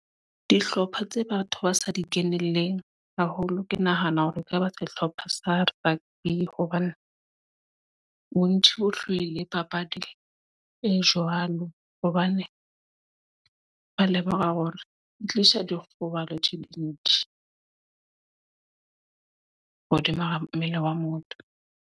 Dihlopha tse batho ba sa di kenelleng haholo. Ke nahana hore e ka ba sehlopha sa rugby. Hobane bontsi bo hloile papadi e jwalo. Hobane ba lemoha hore di tlisa dikgobalo tse dintsi. Hodima ha mmele wa motho.